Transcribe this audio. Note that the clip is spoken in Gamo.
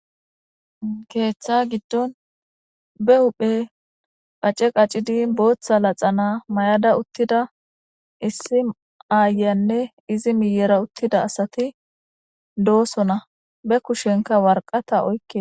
ketha giddon be huphe qace qacidi bootha laxana may'da uttida issi aayanne izi miyera uttida asati doosona be kushenka warqata oykke